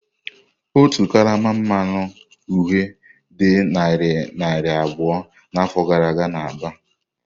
Otu karama mmanụ uhie dị narị naira abụọ n'afọ gara aga n'Aba.